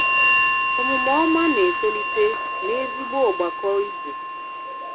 Òmùmè òmá na-etòlítè n'ezìgbò ògbàkọ Ìgbò.